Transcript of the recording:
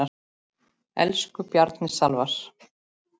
Elsku Bjarni Salvar.